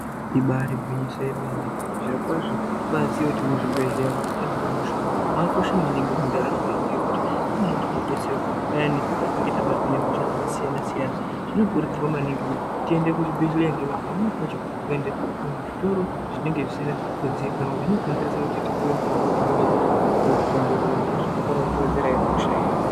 Ibari gwinyiso yemene, zvirokwazvo tobaziye kuti muzvibhedhleya mwatinohinwe hosha mwakakosha maningi mwundaramwo yedu ngekuti ndimo matinodetserwa payani patinenge tabatwa nehosha dzakasiyana-siyana. Zvinokurudzirwa maningi kuti tiende kuzvibhedhleya ngekuti pamweni pacho kuende kuzvitoro zvinenge zvisina kuziikanwa zvinokonzeresa kuti tipiwe mitombo inenge isina kuongororwa, zvekuti tikona kutozowedzerahe hosha iya.